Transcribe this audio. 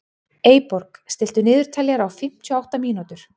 Eyborg, stilltu niðurteljara á fimmtíu og átta mínútur.